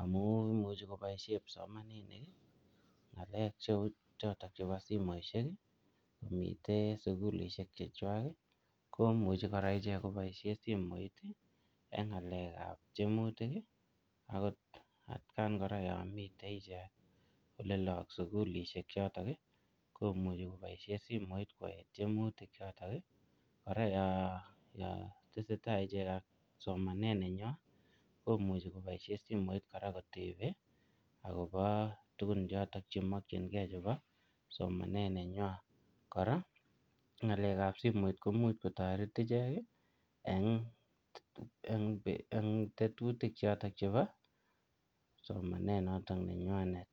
amu imuchei koboishe kipsomaninik ng'alek cheu chotok chebo simoishek komitei sukulishek chechwai komuji kora iche koboishe simoit eng' ng'alekab tiemutik akot atkan kora yo mitei ichek ole loo ak sukulishek choto komuji koboishe simoit kotar tiemutik choto kora yo tesei tai ichek ak somanet nenywai komuji koboishe simoit kora kotebe akobo tukun choto chemokjingei chebo somanet nenywai kora ko ng'alekab simoit ko much kotoret ichek eng' tetutik choto chebo somanet noto nenywanet